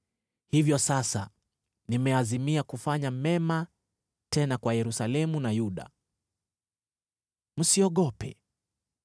“hivyo sasa nimeazimia kufanya mema tena kwa Yerusalemu na Yuda. Msiogope.